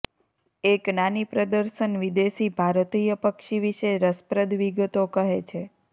એક નાની પ્રદર્શન વિદેશી ભારતીય પક્ષી વિશે રસપ્રદ વિગતો કહે છે